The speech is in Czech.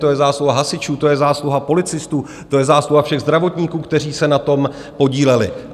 To je zásluha hasičů, to je zásluha policistů, to je zásluha všech zdravotníků, kteří se na tom podíleli.